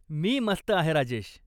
मी मस्त आहे राजेश.